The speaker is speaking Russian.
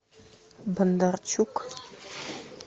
бондарчук